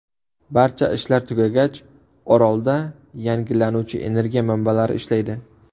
Barcha ishlar tugagach, orolda yangilanuvchi energiya manbalari ishlaydi.